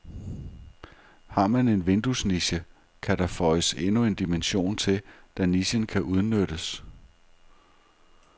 Har man en vinduesniche, kan der føjes endnu en dimension til, da nichen kan udnyttes.